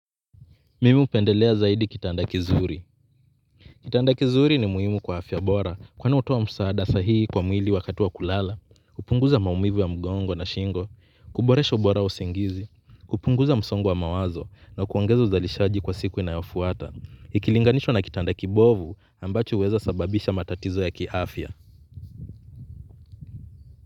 Mimi hupendelea zaidi kitanda kizuri. Kitanda kizuri ni muhimu kwa afya bora kwani hutoa msaada sahihi kwa mwili wakati wa kulala. Kupunguza maumivu ya mgongo na shingo. Kuboresha ubora wa usingizi. Kupunguza msongo wa mawazo na kuongeza uzalishaji kwa siku inayofuata. Ikilinganishwa na kitanda kibovu ambacho uweza kusababisha matatizo ya kiafya.